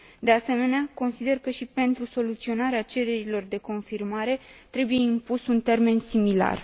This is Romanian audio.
De asemenea, consider că și pentru soluționarea cererilor de confirmare trebuie impus un termen similar.